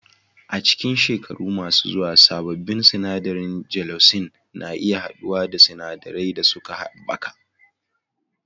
A cikin shekaru masu zuwa, sabbin sinadarin gelocin na iya haɗuwa da sinadarai da suka haɓaka